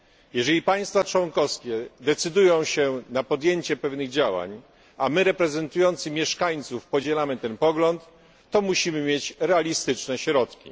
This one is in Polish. Jeżeli państwa członkowskie decydują się na podjęcie pewnych działań, a my reprezentujący mieszkańców podzielamy ten pogląd, to musimy mieć realistyczne środki.